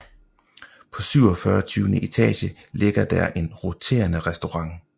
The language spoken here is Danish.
På 47 etage ligger der en roterende restaurant